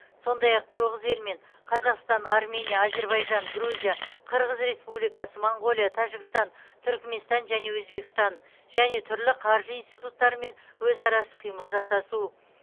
сондай ақ тоғыз елмен қазақстан армения әзербайжан грузия қырғыз республикасы моңғолия тәжікстан түрікменстан және өзбекстан және түрлі қаржы институттарымен өзара іс қимыл жасасу